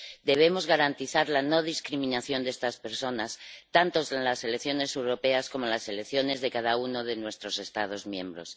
Debemos garantizar la no discriminación de estas personas, tanto en las elecciones europeas como en las elecciones de cada uno de nuestros Estados miembros.